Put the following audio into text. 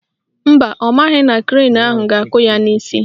Mba, ọ maghị na krenu ahụ ga-akụ ya n'isi